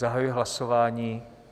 Zahajuji hlasování.